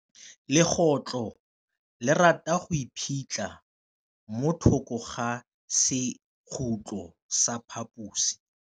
Legôtlô le rata go iphitlha mo thokô ga sekhutlo sa phaposi.